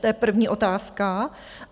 To je první otázka.